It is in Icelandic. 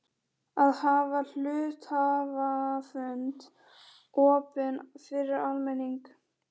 að hafa hluthafafund opinn fyrir almenning.